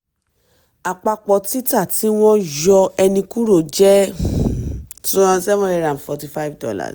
àpapọ̀ títà tí wọ́n yọ ènì kúrò jẹ́ um seven hundred and forty-five dollar